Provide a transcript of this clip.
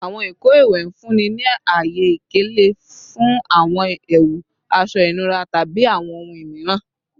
Awọn ìkọ iwẹ n funni ni aye ikele fun awọn ẹwu, aṣọ inura, tabi awọn ohun miiran